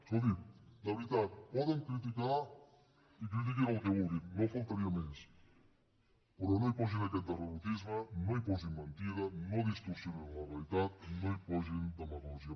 escoltin de veritat poden criticar i critiquin el que vulguin només faltaria però no hi posin aquest derrotisme no hi posin mentida no distorsionin la realitat no hi posin demagògia